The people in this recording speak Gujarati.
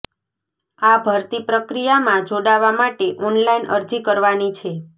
આ ભરતી પ્રક્રિયામાં જોડાવા માટે ઓનલાઇન અરજી કરવાની છે